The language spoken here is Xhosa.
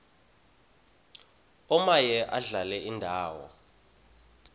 omaye adlale indawo